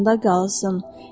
Yadında qalsın.